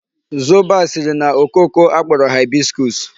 Zobo a siri na okooko a kporo hibiscus.